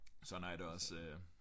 Sådan har jeg det også øh